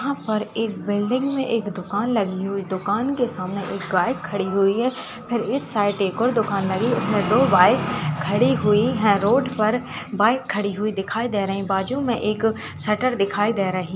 यहां पर एक बिल्डिंग में एक दुकान लगी हुई है दुकान के सामने एक गाय खड़ी हुई है और इस साइड एक और दुकान लगी हुई है और दो गाय खड़ी हुई हैं रोड पर बाइक खड़ी हुई दिखाई दे रही है और बाजू में एक सेटर दिखाई दे रहा --